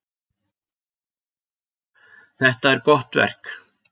Þetta er gott verk.